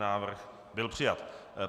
Návrh byl přijat.